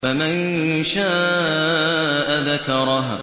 فَمَن شَاءَ ذَكَرَهُ